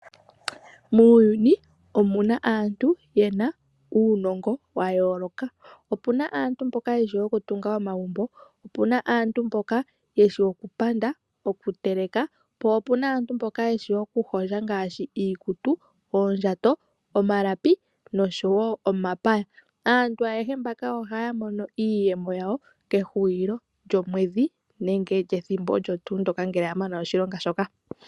Muuyuni omuna aantu yena uunongo wayooloka. Opuna aantu mboka yeshi okutunga omagumbo, opuna aantu mboka yeshi okupanda , okuteleka. Po opuna aantu mboka yeshi okuhondja ngaashi iikutu , oondjato, omalapi noshowoo omapaya. Aantu ayehe mbaka ohaya mono iiyemo yawo okehulilo lyomwedhi nenge pethimbo olyo tuu ndyoka ngele yamana oshilonga shoka.